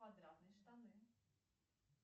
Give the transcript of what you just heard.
квадратные штаны